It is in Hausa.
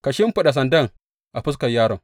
Ka shimfiɗa sandana a fuskar yaron.